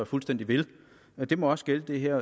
fuldstændig ved det må også gælde det her